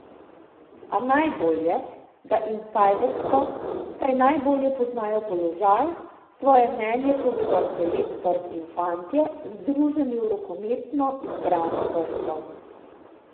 A najbolje, da insajdersko, saj najbolje poznajo položaj, svoje mnenje povedo selektor in fantje, združeni v rokometno izbrano vrsto.